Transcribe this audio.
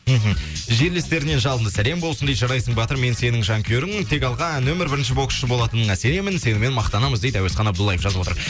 мхм жерлестерінен жалынды сәлем болсын дейді жарайсың батыр мен сенің жанкүйеріңмін тек алға нөмір бірінші боксшы болатыныңа сенемін сенімен мақтанамыз дейді әуесхан абдуллаев жазып отыр